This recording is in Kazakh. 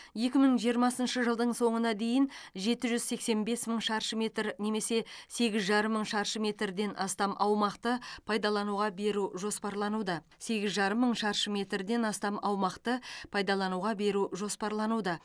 екі мың жиырмасыншы жылдың соңына дейін жеті жүз сексен бес мың шаршы метр немесе сегіз жарым мың шаршы метрден астам аумақты пайдалануға беру жоспарлануда сегіз жарым мың шаршы метрден астам аумақты пайдалануға беру жоспарлануда